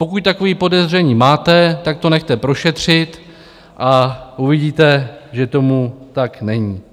Pokud takové podezření máte, tak to nechte prošetřit a uvidíte, že tomu tak není.